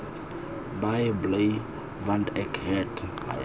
baie bly want ek het